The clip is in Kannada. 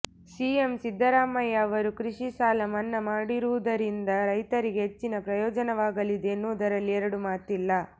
ಸಿಎಂ ಸಿದ್ದರಾಮಯ್ಯ ಅವರು ಕೃಷಿ ಸಾಲ ಮನ್ನಾ ಮಾಡಿರುವುದರಿಂದ ರೈತರಿಗೆ ಹೆಚ್ಚಿನ ಪ್ರಯೋಜನವಾಗಲಿದೆ ಎನ್ನುವುದರಲ್ಲಿ ಎರಡು ಮಾತಿಲ್ಲ